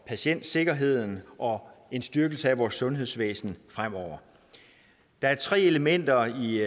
patientsikkerheden og en styrkelse af vores sundhedsvæsen fremover der er tre elementer i